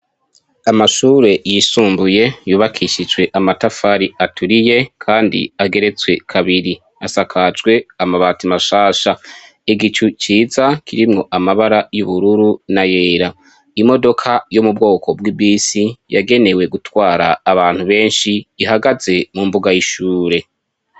Amashure yisumbuye yubakishijwe amatafari aturiye kandi ageretswe kabiri asakajwe amabati mashasha, igicu ciza kirimwo amabara y'ubururu n'ayera, imodoka yo m'ubwoko bw'ibisi yagenewe gutwara abantu benshi ihagaze mumbuga y'ishure.